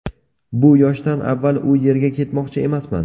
Bu yoshdan avval u yerga ketmoqchi emasman.